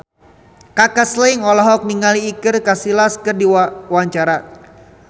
Kaka Slank olohok ningali Iker Casillas keur diwawancara